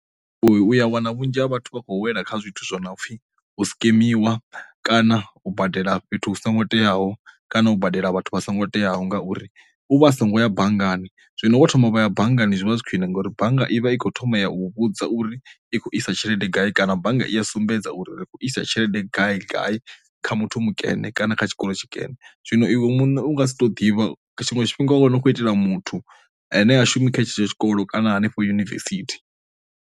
Uya wana vhunzhi ha vhathu vha khou wela kha zwithu zwo no pfhi u sikemiwa kana u badela fhethu hu songo teaho kana u badela vhathu vha songo teaho, ngauri u vha a songo ya banngani zwino vho thoma vha ya banngani zwi vha zwi khwine ngauri bannga i vha i khou thoma ya u vhudza uri i kho isa tshelede gai kana bannga i sumbedza uri ri isa tshelede gai gai kha muthu mikene kana kha tshikolo tshikene, zwino iwe muṋe u nga si to ḓivha tshiṅwe tshifhinga wa wana u khou itela muthu ane a shumi khatsho tshikolo kana hanefho yunivesithi.